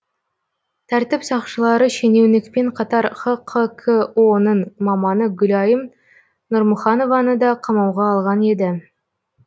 тәртіп сақшылары шенеунікпен қатар хқко ның маманы гүлайым нұрмұханованы да қамауға алған еді